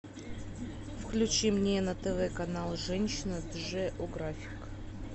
включи мне на тв канал женщина джеографик